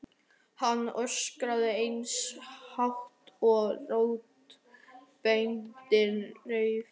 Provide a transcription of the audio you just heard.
Hann öskrar eins hátt og raddböndin leyfa.